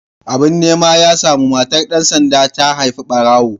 Abin nema ya samu, matar dan sanda ta haifi barawo.